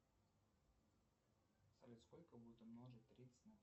салют сколько будет умножить тридцать на